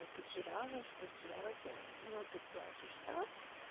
потеряла что делать ну ты плачешь штраф